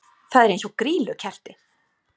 Það er eins og grýlukerti!